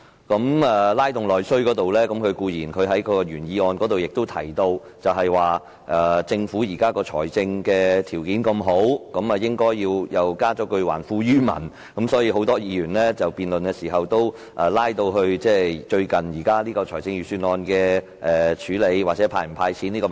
在"拉動內需"方面，他在原議案提到政府的財政儲備豐裕，應還富於民，所以很多議員在辯論時也談到最近財政預算案的安排或應否"派錢"的問題。